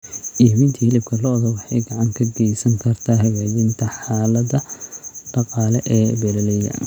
Iibinta hilibka lo'da waxay gacan ka geysan kartaa hagaajinta xaaladda dhaqaale ee beeralayda.